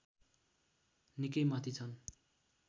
निकै माथि छन्